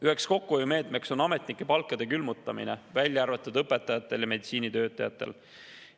Üheks kokkuhoiumeetmeks on ametnike palkade külmutamine, välja arvatud õpetajatel ja meditsiinitöötajatel.